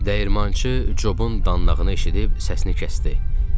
Dəyirmançı Jobun danlağını eşidib səsini kəsdi.